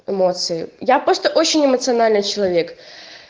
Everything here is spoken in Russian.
эмоции я просто очень эмоциональный человек